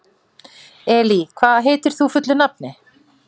Elí, hvað heitir þú fullu nafni?